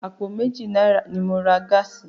Àpò méjì náírà ni mo ra gáàsì.